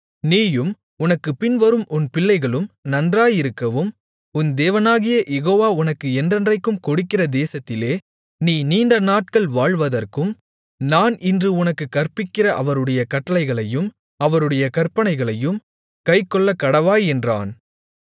நீயும் உனக்குப் பின்வரும் உன் பிள்ளைகளும் நன்றாயிருக்கவும் உன் தேவனாகிய யெகோவா உனக்கு என்றைக்கும் கொடுக்கிற தேசத்திலே நீ நீண்ட நாட்கள் வாழ்வதற்கும் நான் இன்று உனக்குக் கற்பிக்கிற அவருடைய கட்டளைகளையும் அவருடைய கற்பனைகளையும் கைக்கொள்ளக்கடவாய் என்றான்